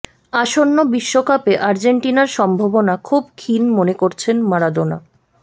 আসন্ন বিশ্বকাপে আর্জেন্টিনার সম্ভবনা খুব ক্ষীণ মনে করছেন মারাদোনা